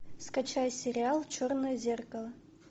скачай сериал черное зеркало